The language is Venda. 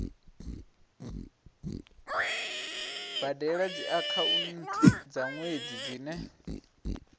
badela dziakhaunthu dza nwedzi dzine